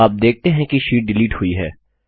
आप देखते हैं कि शीट डिलीट हुई है